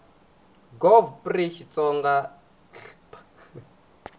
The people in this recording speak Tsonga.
gov pri xitsonga hl p